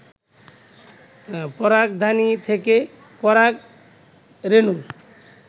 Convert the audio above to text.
পরাগধানী থেকে পরাগ রেণুর